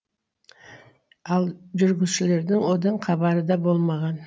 ал жүргізушілердің одын хабары да болмаған